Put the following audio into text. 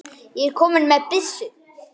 ég er kominn með byssu!